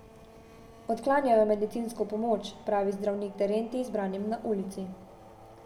Odklanjajo medicinsko pomoč, pravi zdravnik Terentij zbranim na ulici.